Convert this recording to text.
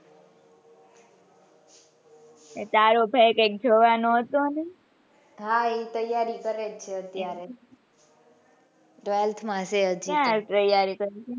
એટલે તારો ભાઈ કૈક જવાનો હતો ને હા એ તૈયારી કરે છે અત્યારે twelfth માં છે હજી તો ક્યાં તૈયારી કરે છે.